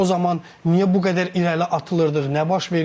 O zaman niyə bu qədər irəli atılırdıq, nə baş verirdi?